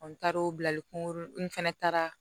n taara o bilali kungolo in fɛnɛ taara